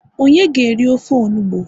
onye ga eri ofe onugbu?